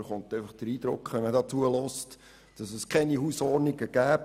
Wenn man hier zuhört, erhält man allerdings den Eindruck, es gäbe keine Hausordnungen.